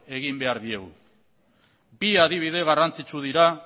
egin behar diegu bi adibide garrantzitsu dira